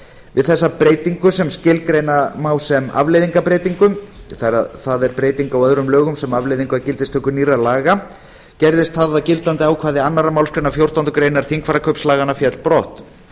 við þessa breytingu sem skilgreina má sem afleiðingarbreytingu það er breyting á öðrum lögum sem afleiðing af gildistöku nýrra laga gerðist það að gildandi ákvæði annarrar málsgreinar fjórtándu greinar þingfararkaupslaganna féll brott